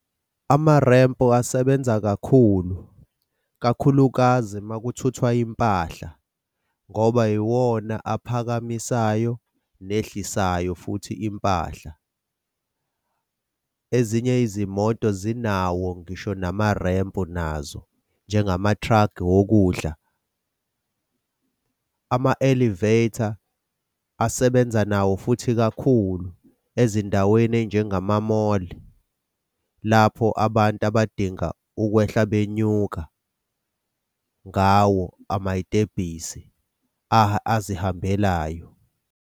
Amarempu asebenza kakhulu, kakhulukazi makuthuthwa impahla ngoba iwona aphakamisayo nehlesayo futhi impahla. Ezinye izimoto zinawo ngisho namarempu nazo njengamathragi wokudla. Ama-elevator asebenza nawo futhi kakhulu ezindaweni ey'njengamamoli, lapho abantu abadinga ukwehla benyuka ngawo amay'tebhisi azihambelayo.